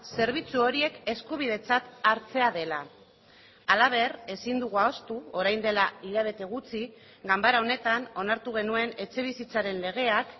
zerbitzu horiek eskubidetzat hartzea dela halaber ezin dugu ahaztu orain dela hilabete gutxi ganbara honetan onartu genuen etxebizitzaren legeak